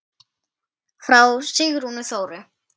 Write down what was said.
Frá Sigrúnu Þóru.